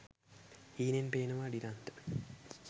හීනෙන් පේනවා ඩිලන්ත